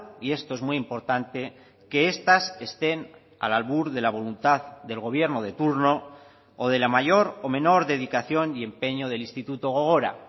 y esto es muy importante que estas estén al albur de la voluntad del gobierno de turno o de la mayor o menor dedicación y empeño del instituto gogora